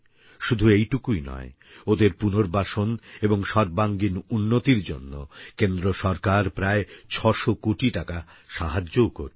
শুধু এইটুকুই নয় ওঁদের পুনর্বাসন এবং সর্বাঙ্গীন উন্নতির জন্য কেন্দ্র সরকার প্রায় ৬০০ কোটি টাকা সাহায্যও করবে